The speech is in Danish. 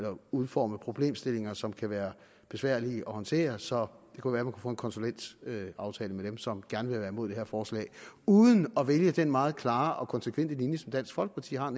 udforme problemstillinger som kan være besværlige at håndtere så det kunne være man få en konsulentaftale med dem som gerne vil være imod det her forslag uden at vælge den meget klare og konsekvente linje som dansk folkeparti har